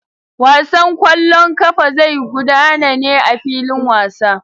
Wasan kwallon kafa zai gudana ne a filin wasa.